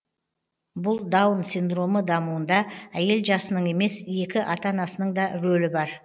бұл даун синдромы дамуында әйел жасының емес екі ата анасының да рөлі бар